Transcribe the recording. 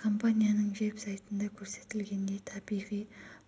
компанияның веб-сайтында көрсетілгендей табиғи